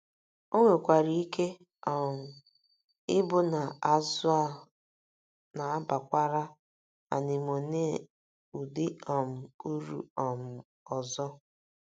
O nwekwara ike um ịbụ na azụ̀ a na - abakwara anemone ụdị um uru um ọzọ.